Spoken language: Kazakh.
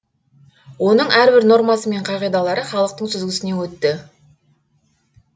оның әрбір нормасы мен қағидалары халықтың сүзгісінен өтті